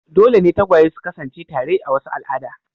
Dole ne tagwaye su kasance tare a wasu al'ada.